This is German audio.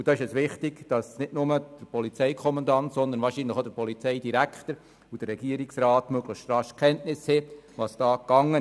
Es ist wichtig, dass nicht nur der Polizeikommandant, sondern wahrscheinlich auch der Polizeidirektor und der Regierungsrat möglichst rasch in Kenntnis gesetzt werden.